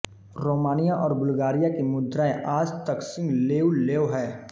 Romania और Bulgaria की मुद्राएँ आज तक सिंह लेउ लेव हैं